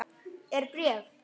Er bréf?